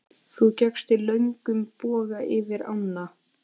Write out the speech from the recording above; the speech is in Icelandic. Þú gekkst í löngum boga yfir ána.